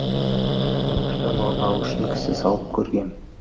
конкурстан орын алу үшін кісі салып көргем